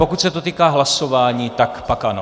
Pokud se to týká hlasování, tak pak ano.